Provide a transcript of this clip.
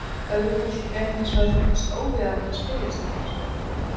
Öðru fólki gæti hins vegar fundist óviðeigandi að spyrja slíkra spurninga.